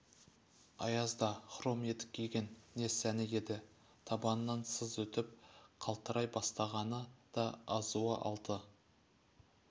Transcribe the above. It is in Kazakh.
аязда хром етік киген не сәні еді табанынан сыз өтіп қалтырай бастағаны да азуы алты